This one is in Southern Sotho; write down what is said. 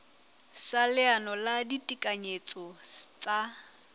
sa leano la ditekanyetso tsa